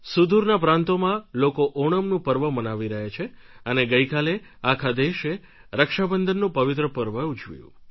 સુદૂરના પ્રાંતોમાં લોકો ઓણમ્ નું પર્વ મનાવી રહ્યા છે અને ગઈકાલે આખા દેશે રક્ષાબંધનનું પવિત્ર પર્વ ઉજવ્યું